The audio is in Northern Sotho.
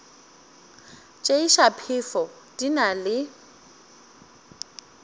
tšeiša phefo di na le